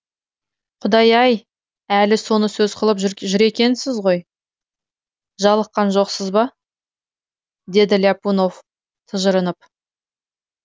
құдай ай әлі соны сөз қылып жүр екенсіз ғой жалыққан жоқсыз ба деді ляпунов тыжырынып